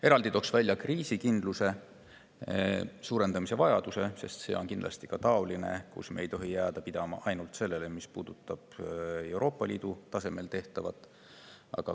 Eraldi toon välja kriisikindluse suurendamise vajaduse, sest see on kindlasti ka, kus me ei tohi jääda pidama ainult sellele, mis puudutab Euroopa Liidu tasemel tehtavat.